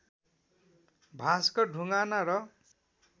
भाष्कर ढुङ्गाना र